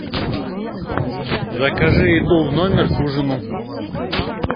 закажи еду в номер к ужину